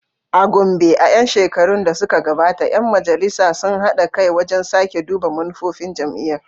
A Gombe, a ‘yan shekarun da suka gabata, ‘yan Majalisar sun haɗa kai wajen sake duba manufofin jami’ar.